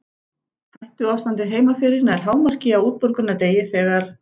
Hættuástandið heima fyrir nær hámarki á útborgunardegi þegar